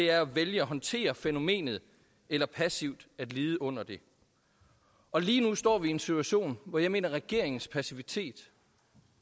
er at vælge at håndtere fænomenet eller passivt at lide under det lige nu står vi i en situation hvor jeg mener at regeringens passivitet